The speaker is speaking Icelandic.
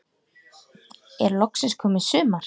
Er loksins komið sumar?